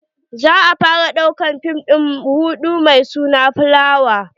za'a fara ɗaukan fim din ruɗu mai suna fulawa.